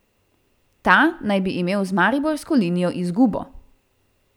Ta naj bi imel z mariborsko linijo izgubo.